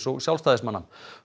og Sjálfstæðismanna